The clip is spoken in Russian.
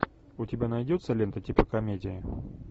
у тебя найдется лента типа комедии